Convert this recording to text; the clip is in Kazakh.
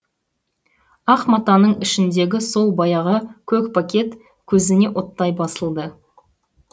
ақ матаның ішіндегі сол баяғы көк пакет көзіне оттай басылды